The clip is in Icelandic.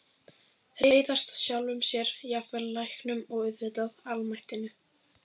Reiðast sjálfum sér, jafnvel læknum- og auðvitað almættinu.